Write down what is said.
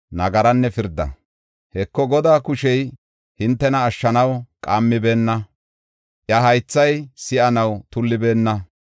Heko, Godaa kushey hintena ashshanaw qaammibeenna; iya haythay si7anaw tullibeenna.